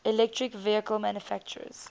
electric vehicle manufacturers